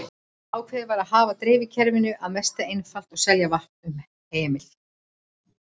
Ákveðið var að hafa dreifikerfið að mestu einfalt og selja vatn um hemil.